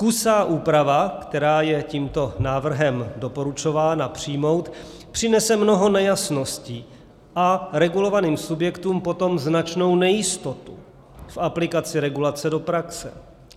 Kusá úprava, která je tímto návrhem doporučována přijmout, přinese mnoho nejasností a regulovaným subjektům potom značnou nejistotu v aplikaci regulace do praxe.